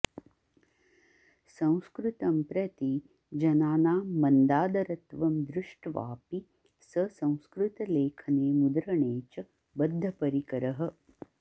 संस्कृतं प्रति जनानां मन्दादरत्वं दृष्ट्वापि स संस्कृतलेखने मुद्रणे च बद्धपरिकरः